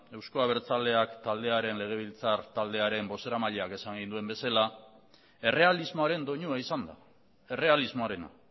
euzko abertzaleak taldearen legebiltzartaldearen bozeramaileak esan egin duen bezala errealismoaren doinua izan da errealismoarena